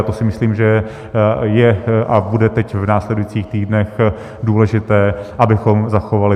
A to si myslím, že je a bude teď v následujících týdnech důležité, abychom zachovali.